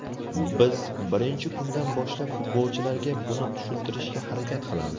Biz birinchi kundan boshlab futbolchilarga buni tushuntirishga harakat qilamiz.